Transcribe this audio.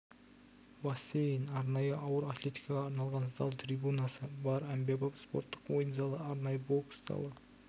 бассейн арнайы ауыр атлетикаға арналған зал трибунасы бар әмбебап спорттық ойын залы арнайы бокс залы